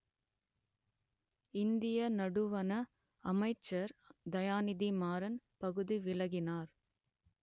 இந்திய நடுவன அமைச்சர் தயாநிதி மாறன் பதவி விலகினார்